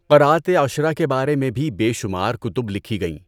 قرأت عشرہ کے بارے میں بھی بے شمار کتب لکھی گئیں۔